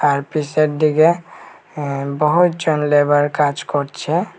তার পেশেরদিগে আ বহুতজন লেবার কাজ করছে।